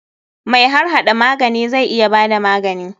Mai harhada magani zai iya bada magani.